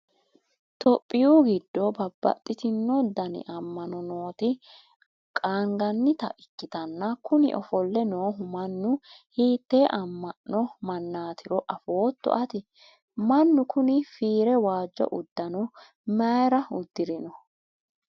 topiyu giddo babbaxitino dani amma'no nooti qaangannita ikkitanna, kuni ofolle noohu mannu hiitte amma'no mannaatiro afootto ati? mannu kuni fiire waajjo uddano mayiira uddirino?